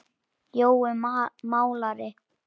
Jói málari